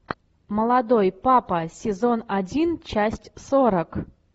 молодой папа сезон один часть сорок